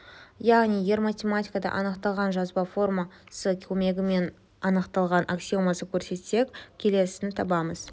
яғни егер математикада анықталған жазба формасы көмегімен анықталған аксиомасын көрсетсек келесіні аламыз